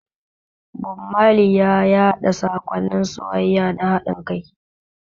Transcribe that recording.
Bob Marley ya yaɗa saƙonnin soyayya da haɗin kai.